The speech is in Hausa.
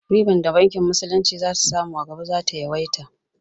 Ribar da bankin musulunci za su samu a gaba za ta yawaita